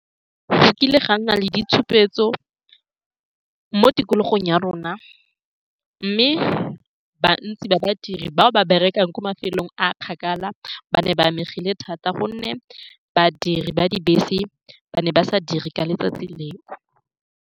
Go kile ga nna le ditshupetso mo tikologong ya rona, mme bontsi ba badiri bao ba berekang ko mafelong a a kgakala ba ne ba amegile thata, ka gonne badiri ba dibese ba ne ba sa dire ka letsatsi leo.